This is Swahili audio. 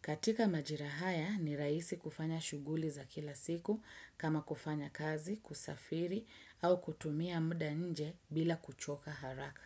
Katika majira haya ni raisi kufanya shuguli za kila siku kama kufanya kazi, kusafiri au kutumia muda nje bila kuchoka haraka.